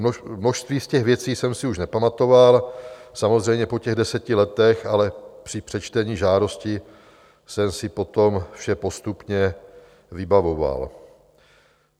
Množství z těch věcí jsem si už nepamatoval, samozřejmě, po těch deseti letech, ale při přečtení žádosti jsem si potom vše postupně vybavoval.